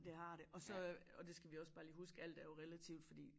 Det har det og så øh og det skal vi også bare lige huske alt er jo relativt fordi